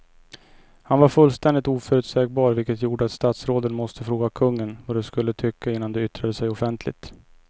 Han var fullständigt oförutsägbar vilket gjorde att statsråden måste fråga kungen vad de skulle tycka innan de yttrade sig offentligt.